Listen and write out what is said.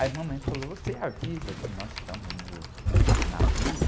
Aí a mamãe falou, você avisa que nós estamos no navio?